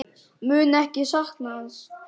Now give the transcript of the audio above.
Mun ekki sakna hans.